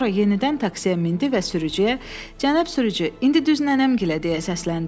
Sonra yenidən taksiyə mindi və sürücüyə “Cənab sürücü, indi düz nənəmgilə!” deyə səsləndi.